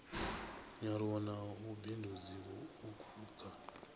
nyaluwo na vhubindudzi vhuuku kha